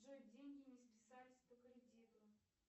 джой деньги не списались по кредиту